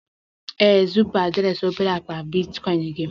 ee, zipu adreesị obere akpa bitcoin gị